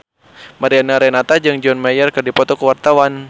Mariana Renata jeung John Mayer keur dipoto ku wartawan